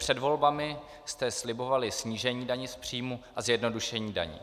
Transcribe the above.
Před volbami jste slibovali snížení daně z příjmu a zjednodušení daní.